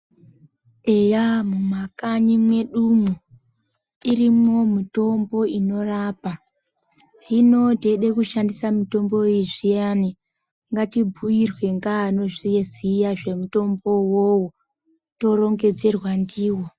Eya mumakanyi medu mwo irimqo mitombo inorapa hino teida kushandisa mitombo yezviyani ngatibhuirwe ngeanozviziya zvemutombo uwowo torongedzerwa ndiwo